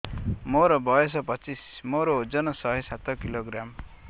ମୋର ବୟସ ପଚିଶି ମୋର ଓଜନ ଶହେ ସାତ କିଲୋଗ୍ରାମ